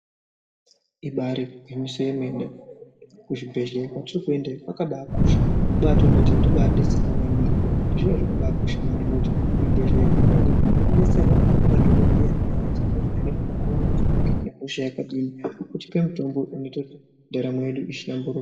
Ibari gwinyiso yemene kuzvibhehleya kwetinoende kwakabakosha kubatoona kuti ndodetserwa maningi zviro zvino zvakaba kosha maningi ngekuti kuzvibhehleya kwetinoende tinobetserwa ngemadhokodheya anotivheneka kuti tinenga tinehosha yakadini otipe mutombo unoite kuti ndaramo yedu ihlamburuke